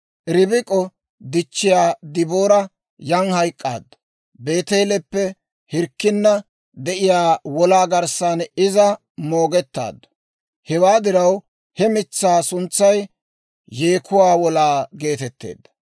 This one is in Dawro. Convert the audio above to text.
Ribik'o dichchiyaa Deboora yan hayk'k'aaddu; Beeteeleppe hirkkinna de'iyaa wolaa garssan iza moogettaaddu; hewaa diraw he mitsaa suntsay Yeekuwaa Wolaa geetetteedda.